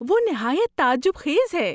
وہ نہایت تعجب خیز ہے!